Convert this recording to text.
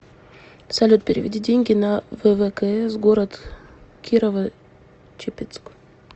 салют переведи деньги на ввкс город кирово чепецк